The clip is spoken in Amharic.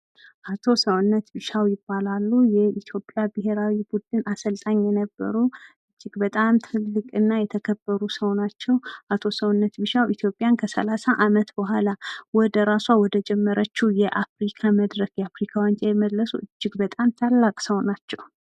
አቶ ሰውነት ቢሻው ይባላሉ። የኢትዮጵያ ብሄራዊ ቡድን አሰልጣኝ ነበሩ። አቶ ሰውነት ቢሻው ከ ሰላሳ አመት በኋላ ኢትዮጵያን ራሳ ወደጀመረችው የአፍሪካ